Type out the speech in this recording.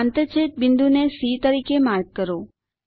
આંતરછેદ બિંદુને સી તરીકે માર્ક કરો